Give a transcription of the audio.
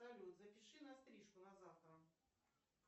салют запиши на стрижку на завтра